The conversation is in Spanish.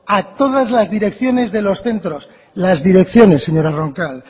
a todas las direcciones de los centros las direcciones señora roncal